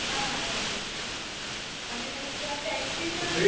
હા એ જ એ જ. અને ત્યાં taxi પણ